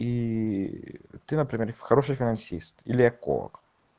и ты например в хорошем финансист или онколог